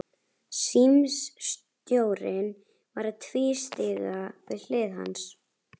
Símstjórinn var að tvístíga við hlið hans.